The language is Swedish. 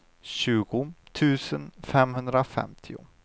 tjugo tusen femhundrafemtio